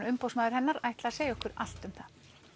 umboðsmaður hennar ætla að segja okkur allt um það